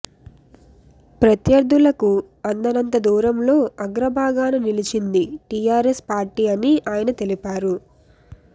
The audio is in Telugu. ప్రత్యర్థులకు అందనంత దూరంలో అగ్రభాగాన నిలిచింది టీఆర్ఎస్ పార్టీ అని ఆయన తెలిపారు